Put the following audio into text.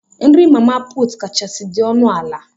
Nri mama put kachasị dị ọnụ ala.